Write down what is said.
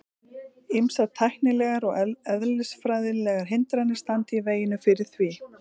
Ýmsar tæknilegar og eðlisfræðilegar hindranir standi í veginum fyrir því.